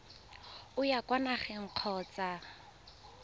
o ya kwa nageng kgotsa